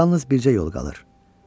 Yalnız bircə yol qalır.